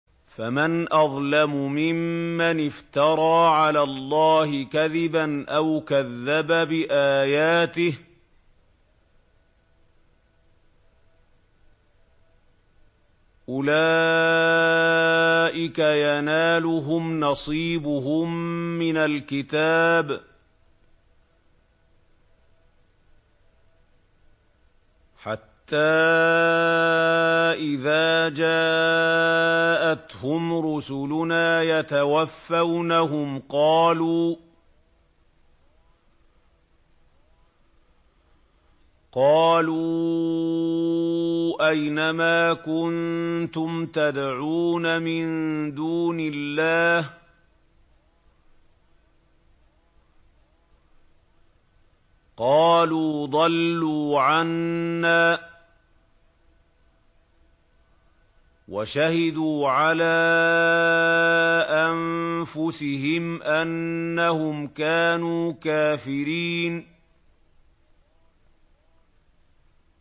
فَمَنْ أَظْلَمُ مِمَّنِ افْتَرَىٰ عَلَى اللَّهِ كَذِبًا أَوْ كَذَّبَ بِآيَاتِهِ ۚ أُولَٰئِكَ يَنَالُهُمْ نَصِيبُهُم مِّنَ الْكِتَابِ ۖ حَتَّىٰ إِذَا جَاءَتْهُمْ رُسُلُنَا يَتَوَفَّوْنَهُمْ قَالُوا أَيْنَ مَا كُنتُمْ تَدْعُونَ مِن دُونِ اللَّهِ ۖ قَالُوا ضَلُّوا عَنَّا وَشَهِدُوا عَلَىٰ أَنفُسِهِمْ أَنَّهُمْ كَانُوا كَافِرِينَ